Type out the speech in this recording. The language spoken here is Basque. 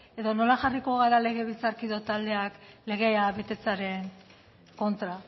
edo nola jarriko gara legebiltzar taldeak legea betetzearen kontra